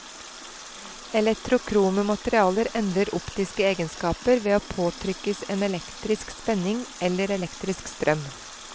Eletrokrome materialer endrer optiske egnskaper ved å påtrykkes en elektrisk spenning eller elektrisk strøm.